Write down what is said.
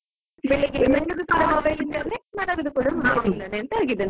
ಬೆಳ್ಳಿಗೆ mobile ಅಲ್ಲಿಯೇ ಮಲಗುದು ಕೂಡಾ mobile ಅಲ್ಲಿಯೇ ಎಂತ ಆಗಿದೆ ನನ್ನ ಪರಿಸ್ಥಿತಿ.